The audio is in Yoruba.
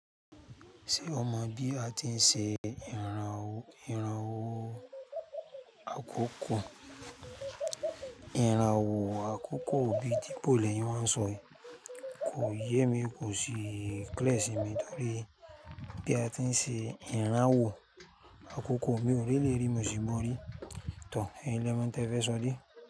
Ṣé o mọ bí a ti ń ṣe ìrànwọ́ àkọ́kọ́? Ìrànwọ́ àkọ́kọ́ bí ti bò lẹ́yìn wa ń sọ yìí. Kò yé mi, kò sí clear sì mi torí bí a ti ń ṣe ìrànwọ́ àkọ́kọ́. Mi ò r'eléyìí rí mi ò sì gbọ́ rí. Tó, eyín lè mọ̀ ń tí ẹ fẹ́ sọ dẹ̀.